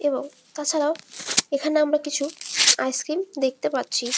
এবং তাছাড়া এখানে আমরা কিছু আইস্ক্রিম দেখতে পাচ্ছি।